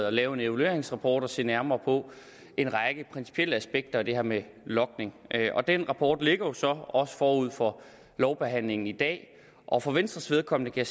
at lave en evalueringsrapport og se nærmere på en række principielle aspekter af det her med logning den rapport ligger så også forud for lovbehandlingen i dag og for venstres vedkommende kan